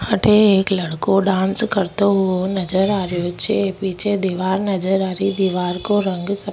अठ एक लड़को डांस करते नजर आ रो छे पीछे दिवार नजर आ री दीवार को रंग सफे --